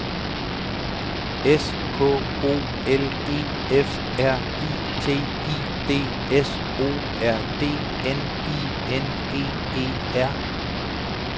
S K O L E F R I T I D S O R D N I N G E R